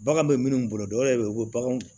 Bagan bɛ minnu bolo dɔ yɛrɛ bɛ yen u bɛ baganw